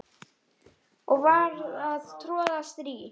og var að troða strý